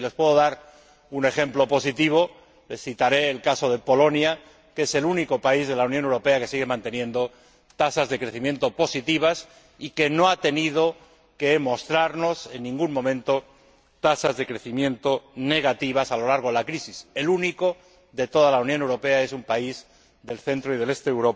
Si les puedo dar un ejemplo positivo, les citaré el caso de Polonia, que es el único país de la Unión Europea que sigue manteniendo tasas de crecimiento positivas y que no ha tenido que mostrarnos en ningún momento tasas de crecimiento negativas a lo largo de la crisis. El único de toda la Unión Europea es un país de Europa central y oriental,